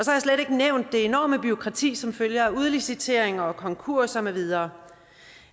ikke nævnt det enorme bureaukrati som følge af udliciteringer og konkurser med videre